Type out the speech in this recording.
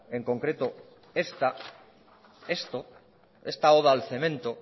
en concreto esta esto esta oda al cemento